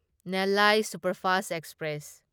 Nellai superfast express